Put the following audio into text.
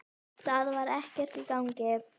Það var ekkert í gangi.